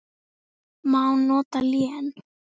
Má nota lén